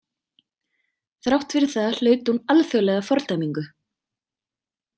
Þrátt fyrir það hlaut hún alþjóðlega fordæmingu.